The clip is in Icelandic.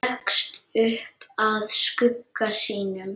Leggst upp að skugga sínum.